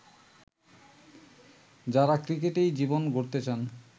যারা ক্রিকেটেই জীবন গড়তে চান